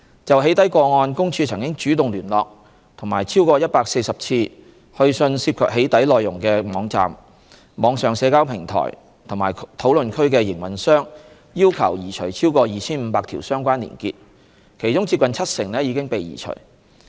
就"起底"個案，公署曾主動聯絡及超過140次去信涉及"起底"內容的網站、網上社交平台或討論區的營運商要求移除超過 2,500 條相關連結，其中接近七成已被移除。